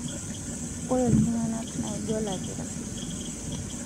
ore tunganak naijo olakira